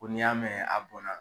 Ko n'i y'a mɛn a bɔnna